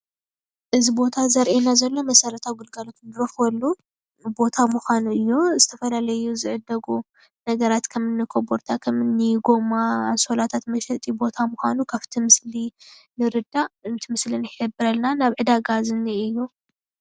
ማእኸል ዕዳጋ ኮበርታን ጎማን የርኢ።